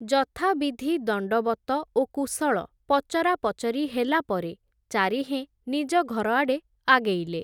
ଯଥାବିଧି ଦଣ୍ଡବତ ଓ କୁଶଳ ପଚରା ପଚରି ହେଲା ପରେ, ଚାରିହେଁ ନିଜ ଘରଆଡ଼େ ଆଗେଇଲେ ।